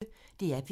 DR P1